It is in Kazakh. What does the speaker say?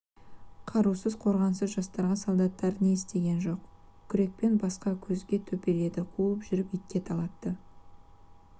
қарусыз қорғансыз жастарға солдаттар не істеген жоқ күрекпен басқа көзге төпеледі қуып жүріп итке талатты